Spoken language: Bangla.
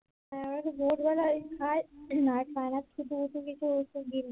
খালি ভোর বেলা করে খাও আর না খায়